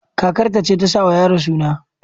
Kakar ta ce tasa wa yaron suna